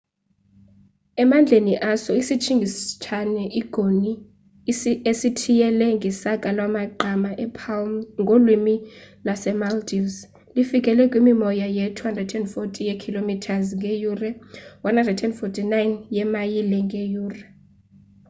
emandleni aso isitshingitshane i-goni esithiyele ngesaka lamagqama e-palm ngolwimi lase-maldives lifikele kwimimoya ye-240 ye-km ngeyure 149 yeemayile ngeyure